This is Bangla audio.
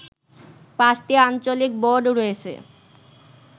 পাঁচটি আঞ্চলিক বোর্ড রয়েছে